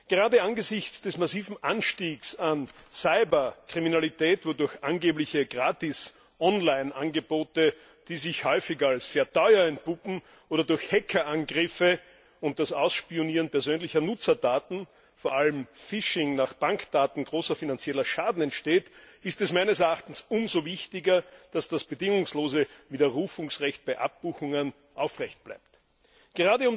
Gerade angesichts des massiven Anstiegs der Cyberkriminalität, wo durch angeblich kostenlose Online Angebote, die sich häufig als sehr teuer entpuppen, oder durch Hackerangriffe und das Ausspionieren persönlicher Nutzerdaten vor allem Fishing nach Bankdaten ein großer finanzieller Schaden entsteht, ist es meines Erachtens umso wichtiger, dass das bedingungslose Widerrufungsrecht bei Abbuchungen aufrecht erhalten bleibt.